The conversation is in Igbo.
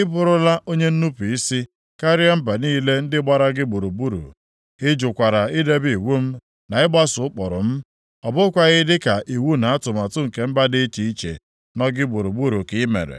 Ị bụrụla onye nnupu isi karịa mba niile ndị gbara gị gburugburu. Ị jụkwara idebe iwu m na ịgbaso ụkpụrụ m, ọ bụghịkwa dịka iwu na atụmatụ nke mba dị iche iche nọ gị gburugburu ka ị mere.